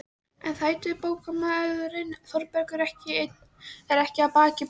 En þrætubókarmaðurinn Þórbergur er ekki af baki dottinn.